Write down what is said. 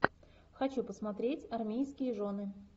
хочу посмотреть армейские жены